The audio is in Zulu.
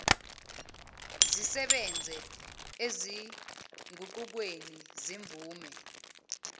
zisebenze ezinguqukweni zemvume